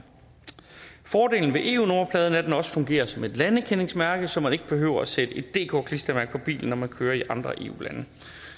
fordelen ved eu nummerpladen er at den også fungerer som et landekendingsmærke så man ikke behøver sætte et dk klistermærke på bilen når man kører i andre eu lande